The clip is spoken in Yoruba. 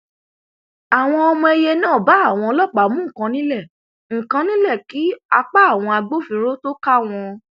àwọn ọmọ èìyẹ náà bá àwọn ọlọpàá mú nǹkan nílẹ nǹkan nílẹ kí apá àwọn agbófinró tóo ká wọn